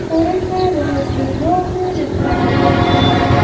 और इसमें बहोत से लोग भी दिखाई दे रहे हैं।